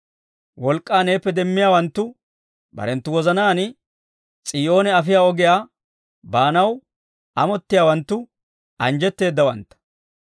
Wolk'k'aa neeppe demmiyaawanttu, barenttu wozanaan S'iyoone afiyaa ogiyaa baanaw amottiyaawanttu anjjetteedawantta.